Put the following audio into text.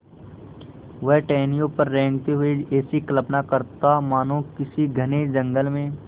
वह टहनियों पर रेंगते हुए ऐसी कल्पना करता मानो किसी घने जंगल में